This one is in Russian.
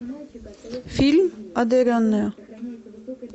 фильм одаренная